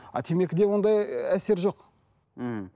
а темекіде ондай ыыы әсер жоқ ммм